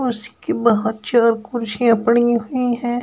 बहुत चेयर कुर्सियां पड़ी हुई हैं।